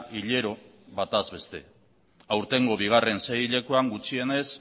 hilero batez beste aurtengo bigarren seihilekoan gutxienez